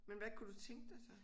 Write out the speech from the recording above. Men hvad kunne du tænke dig så?